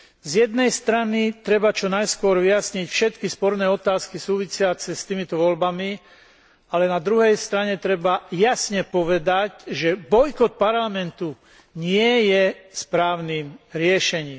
Z jednej strany treba čo najskôr vyjasniť všetky sporné otázky súvisiace s týmito voľbami, ale na druhej strane treba jasne povedať, že bojkot parlamentu nie je správnym riešením.